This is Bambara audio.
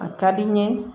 A ka di n ye